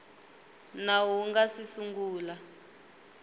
nawu wu nga si sungula